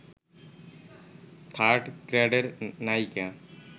third গ্রেডের নায়িকা